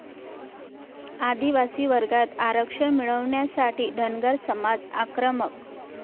आदिवासी वर्गात आरक्षण मिळवण्यासाठी धनगर समाज आक्रमक